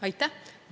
Aitäh!